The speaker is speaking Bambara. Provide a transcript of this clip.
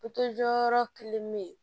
jɔyɔrɔ kelen be yen